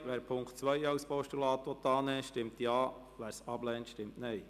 Wer den Punkt 2 als Postulat annehmen will, stimmt Ja, wer dies ablehnt, stimmt Nein.